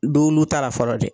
Do lu taara fɔlɔ dɛ